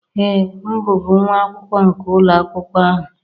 Ee, m bụbu nwa akwụkwọ nke ụlọ akwụkwọ ahụ